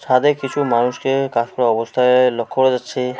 ছাদে কিছু মানুষকে কাজ করা অবস্থায় লক্ষ্য করা যাচ্ছে।